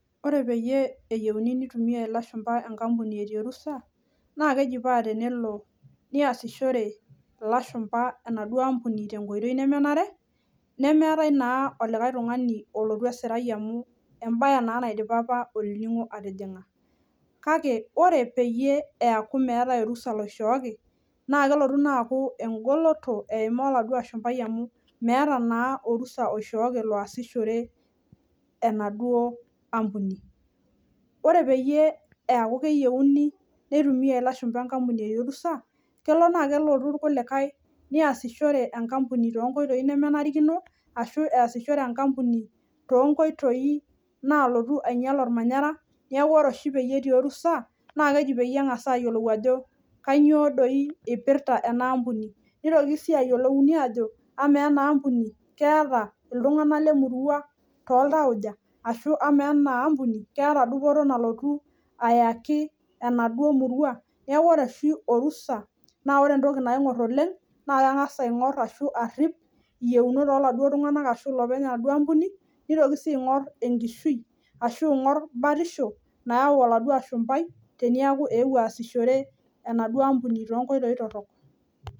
Ore peyie eyiuni nitumia ilashumba enkampuni etii orusa naa keji tenelo neasishore ilashumba enaduo ampuni tenkoitoi nemenare , nemeetae naa olikae tungani olotu esirai amu embae naa naidipa olningo atijinga . Kake ore peyie eaku meetae orusa loishooki naa kelotu naa aku engoloto eimaa oladuo ashumbai amu meeta naa orusa oishooki loasishore enaduo ampuni. Ore peyie eaku keyieuni nintumia ilashumba enkampuni etii orusa , kelo naa keponu irkulikae neasishore enkampuni toonkoitoi nemenarikino , ashu easishore enkampuni toonkoitoi nalotu ainyial ormanyara , niaku ore oshi petii orusa naa keji pengas ayiolou ajo kainyio doi ipirta enampuni , nitoki si ayiolou ajo , amaa enaa ampuni keeta iltunganak lemurua toltauja ashu amaa enaampuni keeta dupoto nalotu ayaki enaduo murua.